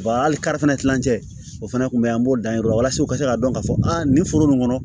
hali kari fana kilancɛ o fana tun bɛ an b'o dan yen o la walasa u ka se k'a dɔn k'a fɔ a nin foro nin kɔnɔ